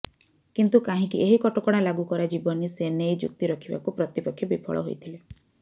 କିନ୍ତୁ କାହିଁକି ଏହି କଟକଣା ଲାଗୁ କରାଯିବନି ସେନେଇ ଯୁକ୍ତି ରଖିବାକୁ ପ୍ରତିପକ୍ଷ ବିଫଳ ହୋଇଥିଲେ